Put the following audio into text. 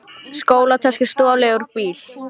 Skólatösku stolið úr bíl